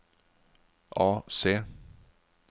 AC